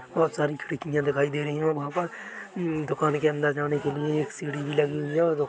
बहुत सारी खिड़कियां दिखाई दे रही है वहाँ पर उम्म दुकान के अंदर जाने के लिए एक सीढ़ी लगी हुई है और --